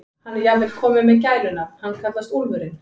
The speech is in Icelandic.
Hann er jafnvel kominn með gælunafn, hann kallast Úlfurinn.